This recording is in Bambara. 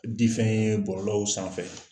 Di fɛn ye bɔlɔlɔw sanfɛ